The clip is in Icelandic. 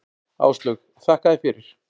Áslaug: Þakka þér fyrir.